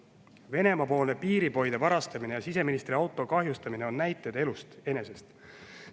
Venemaa-poolne piiripoide varastamine ja siseministri auto kahjustamine on näited elust enesest.